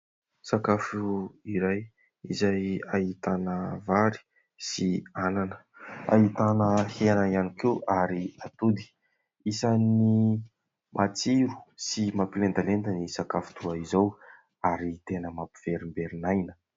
Sakafo iray izay ahitana vary sy anana, ahitana hena ihany koa ary atody. Isany matsiro sy mampilendalenda ny sakafo toa izao ary tena mampiverimberin'aina.